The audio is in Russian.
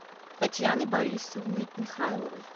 татьяны борисовны михайловой